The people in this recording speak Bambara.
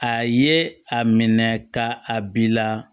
A ye a minɛ ka a bila